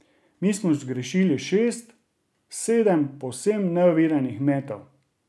Mi smo zgrešili šest, sedem povsem neoviranih metov.